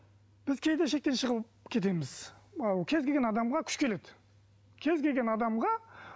біз кейде шектен шығып кетеміз ал кез келген адамға күш келеді кез келген адамға